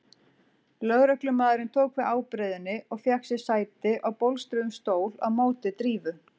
Lögreglumaðurinn tók við ábreiðunni og fékk sér sæti á bólstruðum stól á móti Drífu.